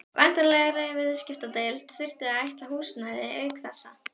Væntanlegri viðskiptadeild þyrfti að ætla húsnæði auk þessa.